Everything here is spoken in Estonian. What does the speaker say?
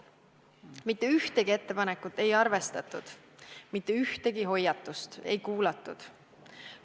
Mitte ühtegi ettepanekut ei arvestatud, mitte ühtegi hoiatust ei kuulatud.